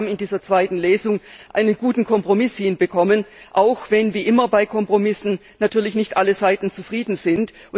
Ich glaube, wir haben in dieser zweiten Lesung einen guten Kompromiss hinbekommen, auch wenn wie immer bei Kompromissen natürlich nicht alle Seiten zufrieden sind.